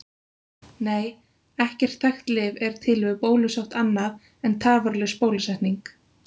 Nei, ekkert þekkt lyf er til við bólusótt annað en tafarlaus bólusetning.